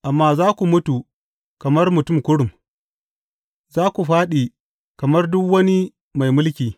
Amma za ku mutu kamar mutum kurum; za ku fāɗi kamar duk wani mai mulki.